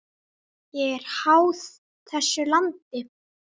Ég er háð þessu landi.